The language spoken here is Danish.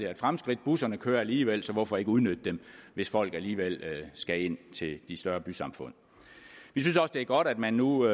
et fremskridt busserne kører alligevel så hvorfor ikke udnytte dem hvis folk alligevel skal ind til de større bysamfund vi synes også det er godt at man nu